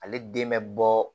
Ale den bɛ bɔ